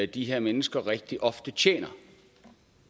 de her mennesker rigtig ofte tjener